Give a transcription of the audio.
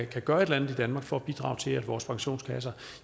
kan gøre et eller andet for at bidrage til at vores pensionskasser